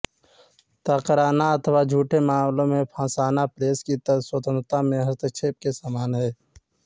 त ाकरना अथवा झूठे मामलें में फँसाना प्रेस की स्वतंत्रता में हस्तक्षेप के समान है